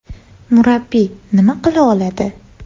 Murabbiy nima qila oladi?